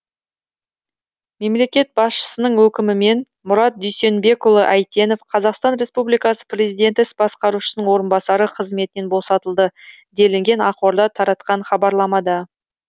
мемлекет басшысының өкімімен мұрат дүйсенбекұлы әйтенов қазақстан республикасы президенті іс басқарушысының орынбасары қызметінен босатылды делінген ақорда таратқан хабарламада